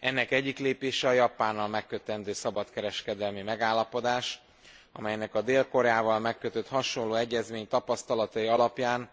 Ennek egyik lépése a Japánnal megkötendő szabadkereskedelmi megállapodás, amelynek a Dél Koreával kötött hasonló egyezmény tapasztalatai alapján